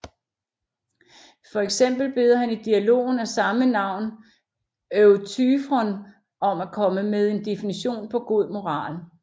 For eksempel beder han i dialogen af samme navn Euthyfron om at komme med en definition på god moral